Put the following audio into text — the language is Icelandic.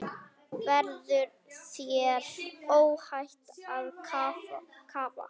Verður þér óhætt að kafa?